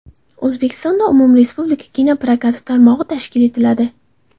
O‘zbekistonda umumrespublika kino prokati tarmog‘i tashkil etiladi.